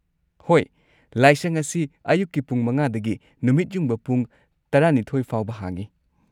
ꯍꯣꯏ꯫ ꯂꯥꯏꯁꯪ ꯑꯁꯤ ꯑꯌꯨꯛꯀꯤ ꯄꯨꯡ ꯵ ꯗꯒꯤ ꯅꯨꯃꯤꯠ ꯌꯨꯡꯕ ꯄꯨꯡ ꯱꯲ ꯐꯥꯎꯕ ꯍꯥꯡꯉꯤ꯫